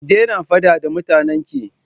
Ki daina faɗa da mutanen ki!